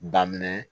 Daminɛ